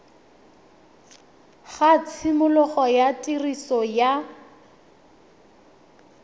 ga tshimologo ya tiriso ya